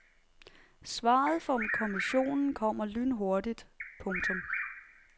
Svaret fra kommissionen kommer lynhurtigt. punktum